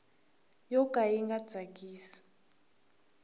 yo ka yi nga tsakisi